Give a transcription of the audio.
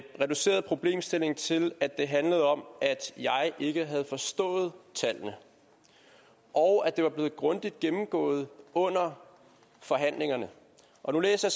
reduceret problemstillingen til at det handlede om at jeg ikke havde forstået tallene og at det var blevet grundigt gennemgået under forhandlingerne nu læser